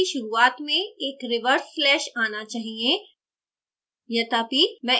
प्रत्येक command कि शुरुआत में एक reverse slash आना चाहिए